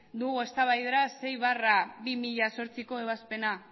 dugu eztabaidara sei barra bi mila zortziko ebazpena